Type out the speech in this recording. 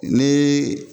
Ni